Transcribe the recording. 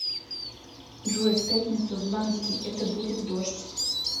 джой в пятницу в ламский это будет дождь